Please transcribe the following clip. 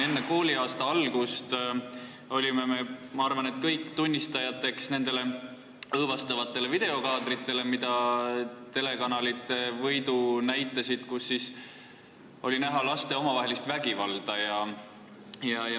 Enne kooliaasta algust olime me arvatavasti kõik tunnistajateks õõvastavatele videokaadritele, mida telekanalid võidu näitasid ja kus oli näha laste omavahelist vägivalda.